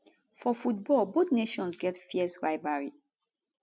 for football both nations get fierce rivalry